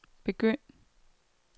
begynd